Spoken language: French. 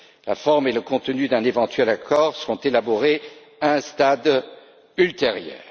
La forme et le contenu d'un éventuel accord seront élaborés à un stade ultérieur.